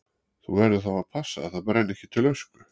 Þú verður þá að passa að það brenni ekki til ösku.